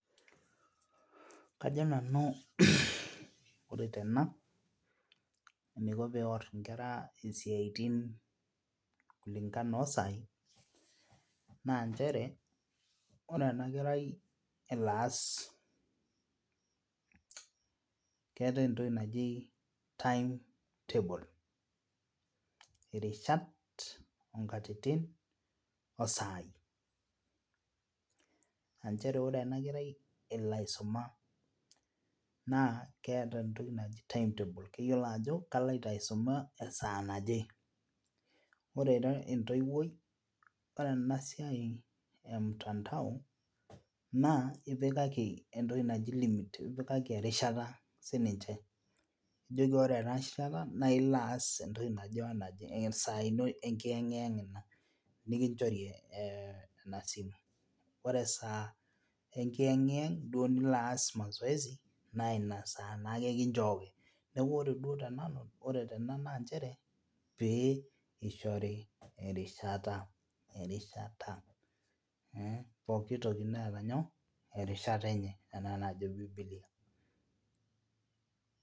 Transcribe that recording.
Kajo nanu ore tena eniko peworr inkera isiaitin kulingana osai nanchere ore ena kerai elo aas keetae entoki naji timetable irishat onkatitin osai anchere ore enakerai elo aisuma naa keeta entoki naji timetable keyiolo ajo kaloito aisuma esaaa naje ore ira entoiwuoi ore ena siai e [mtandao naa ipikaki entoki naji limit ipikaki erishata ninche nijoki ore ena rishata naa ilo aas entoki naje wenaje esaa ino enkiyeng'iyeng ina nikinchori eh ena simu ore esaa enkiyeng'iyeng duo nilo aas mazoezi naa ina saa naake kinchooki niaku ore duo tenanu ore tena nanchere pee eishori erishata erishat mh pokitoki neeta nyoo erishata enye enaa enajo bibilia.